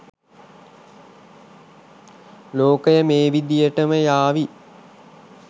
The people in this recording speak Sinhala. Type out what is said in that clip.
ලෝකය මේ විදිහටම යාවී